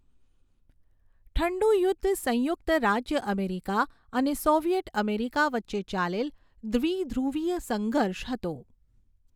ઠંડુ યુદ્ધ સંયુક્ત રાજ્ય અમેરિકા અને સોવિયેટ અમેરિકા વચ્ચે ચાલેલ દ્વિધ્રુવીય સંઘર્ષ હતો.